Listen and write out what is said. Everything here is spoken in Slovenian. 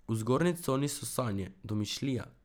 V zgornji coni so sanje, domišljija.